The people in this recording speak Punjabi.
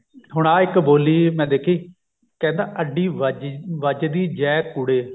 ਹੁਣ ਆ ਇੱਕ ਬੋਲੀ ਮੈਂ ਦੇਖੀ ਕਹਿੰਦਾ ਅੱਡੀ ਵੱਜ ਵੱਜਦੀ ਜੈ ਕੁੜੇ